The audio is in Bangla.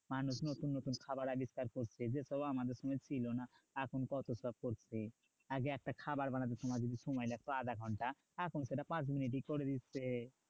মানুষ নতুন নতুন খাবার আবিষ্কার করছে। যেসব আমাদের সময় ছিল না এখন কত সব করছে। আগে একটা খাবার বানাতে তোমার যদি সময় লাগতো আধাঘন্টা, এখন সেটা পাঁচ মিনিটেই করে দিচ্ছে।